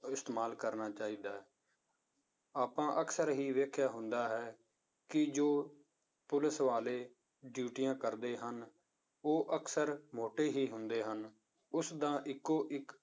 ਇਸਤੇਮਾਲ ਕਰਨਾ ਚਾਹੀਦਾ ਹੈ ਆਪਾਂ ਅਕਸਰ ਹੀ ਵੇਖਿਆ ਹੁੰਦਾ ਹੈ ਕਿ ਜੋ ਪੁਲਿਸ ਵਾਲੇ ਡਿਊਟੀਆਂ ਕਰਦੇ ਹਨ, ਉਹ ਅਕਸਰ ਮੋਟੇ ਹੀ ਹੁੰਦੇ ਹਨ, ਉਸਦਾ ਇੱਕੋ ਇੱਕ